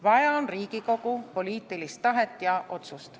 Vaja on Riigikogu poliitilist tahet ja otsust.